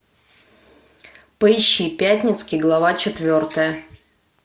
поищи пятницкий глава четвертая